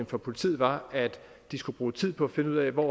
for politiet var at de skulle bruge tid på at finde ud af hvor